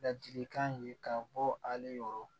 Ladilikan ye ka bɔ ale yɔrɔ